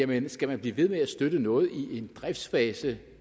man skal blive ved med at støtte noget i en driftsfase